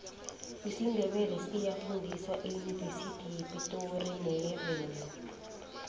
isindebele siyafundiswa eyunivesithi yepitori neyevenda